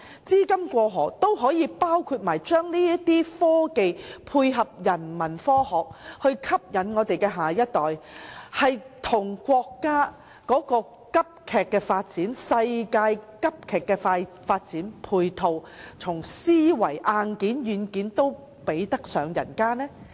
資金"過河"可否包括將科技應用在人文科學上，以吸引下一代，配合國家和世界的急速發展，在思維、硬件和軟件上也比得上其他地方？